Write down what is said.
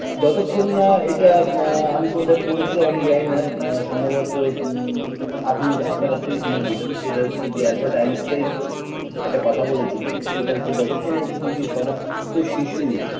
যতক্ষণ না এটা আ আমি কোথায় পড়েছিলাম আমি জানিনা ব সম্ভবত আ আপনি আপনার কাছ থেকেই শুনেছিলাম সেটা হচ্ছে আ্যলবার্ট আইনস্টাইন একটা কথা বলেছিলেন সেটা হচ্ছে যতক্ষণ না পৃথিবীর সমস্ত শিশু